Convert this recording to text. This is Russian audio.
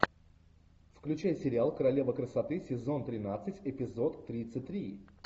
включай сериал королева красоты сезон тринадцать эпизод тридцать три